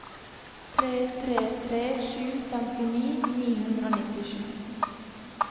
tre tre tre sju femtini ni hundre og nittisju